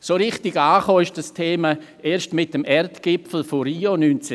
So richtig angekommen ist das Thema erst mit dem Erdgipfel von Rio 1992.